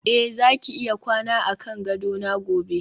eh zaki iya kwana akan gadona gobe